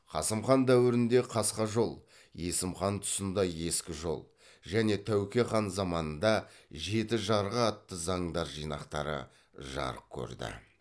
қасым хан дәуірінде қасқа жол есім хан тұсында ескі жол және тәуке хан заманында жеті жарғы атты заңдар жинақтары жарық көрді